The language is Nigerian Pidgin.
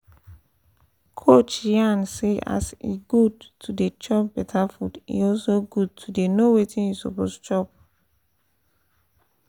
coach yarn say e as e good to dey chop better food e also good to dey know wetin you suppose chop